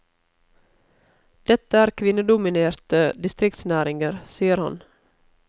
Dette er kvinnedominerte distriktsnæringer, sier han.